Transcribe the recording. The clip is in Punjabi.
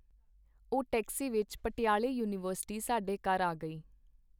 ਉਹ ਟੈਕਸੀ ਵਿੱਚ ਪਟਿਆਲੇ ਯੂਨੀਵਰਸਿਟੀ ਸਾਡੇ ਘਰ ਆ ਗਈ.